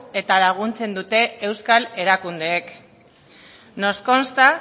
eta laguntzen dute euskal erakundeek nos consta